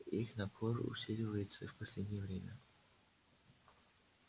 их напор усиливается в последнее время